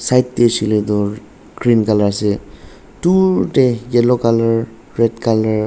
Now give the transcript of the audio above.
side tey huishe le du green colour ase dur tey yellow colour red .